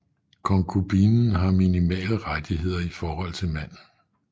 Konkubinen har minimale rettigheder i forhold til manden